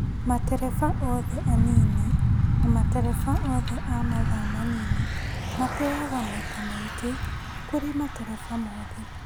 matereba othe anini na matereba othe a mathaa manini mateaga maita maingĩ kũrĩ matereba mothe.